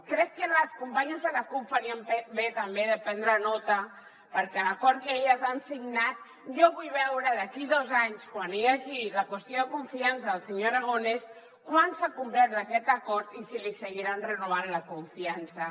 crec que les companyes de la cup farien bé també de prendre nota perquè l’acord que elles han signat jo vull veure d’aquí dos anys quan hi hagi la qüestió de confiança del senyor aragonès quant s’ha complert d’aquest acord i si li seguiran renovant la confiança